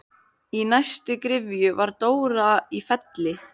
Í næstu gryfju var Dóra í Felli.